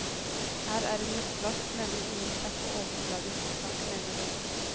Her er en lettvask nemlig ingen kjapp og overfladisk sak, mener hun.